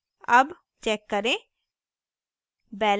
अब check करें